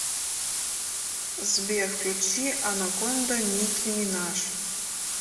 сбер включи анаконда ники минаж